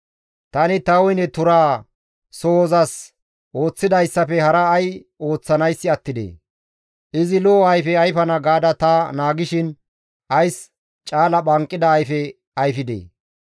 Tani ta woyne turaa sohozasi ooththidayssafe hara ay ooththanayssi attidee? Izi lo7o ayfe ayfana gaada ta naagishin ays caala phanqida ayfe ayfidee?